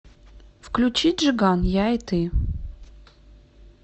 включи джиган я и ты